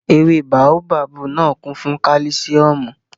Ewé báóbábù náà kún fún kálísíọ̀mù